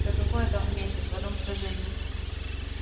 да какое там в месяц в одном сражении